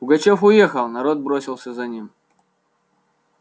пугачёв уехал народ бросился за ним